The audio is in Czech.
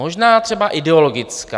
Možná třeba ideologická.